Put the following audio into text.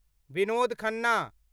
Vinod Khanna